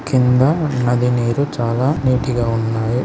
కింద నది నీరు చాలా నీట్ గా ఉన్నాయి.